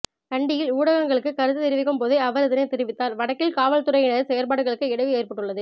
கண்டியில் ஊடகங்களுக்கு கருத்து தெரிவிக்கும் போதே அவர் இதனை தெரிவித்தார்வடக்கில் காவற்துறையினரின் செயற்பாடுகளுக்கு இடையூறு ஏற்பட்டுள்ளது